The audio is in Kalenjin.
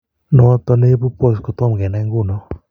Noton neibu POTS kotom kenai ngunon